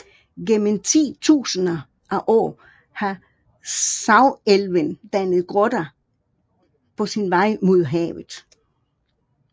Gennem titusinder af år har Sagelven dannet grotter på sin vej mod havet